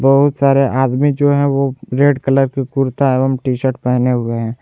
बहुत सारे आदमी जो है वो रेड कलर के कुर्ता एवं टी शर्ट पहने हुए हैं।